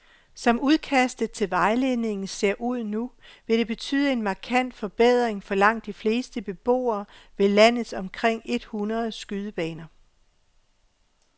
Som udkastet til vejledningen ser ud nu vil det betyde en markant forbedring for langt de fleste beboere ved landets omkring et hundrede skydebaner.